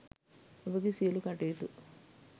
ඔබගේ සියළු කටයුතු